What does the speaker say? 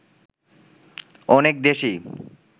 অনেক দেশই